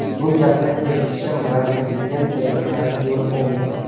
Bu gapni eshitishim bilan aytilgan joyga qarab yo‘l oldim.